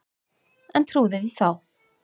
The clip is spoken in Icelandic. En trúði því þá.